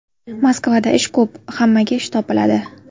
Moskvada ish ko‘p, hammaga ish topiladi.